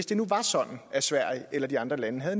det var sådan at sverige eller de andre lande havde